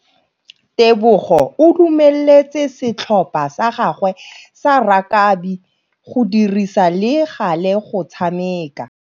Tebogô o dumeletse setlhopha sa gagwe sa rakabi go dirisa le galê go tshameka.